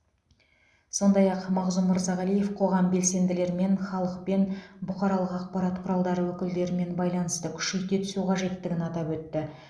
сондай ақ мағзұм мырзағалиев қоғам белсенділерімен халықпен бұқаралық ақпарат құралдары өкілдерімен байланысты күшейте түсу қажеттігін атап өтті